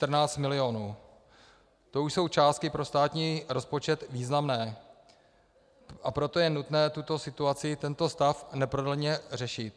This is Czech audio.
To už jsou částky pro státní rozpočet významné, a proto je nutné tuto situaci, tento stav, neprodleně řešit.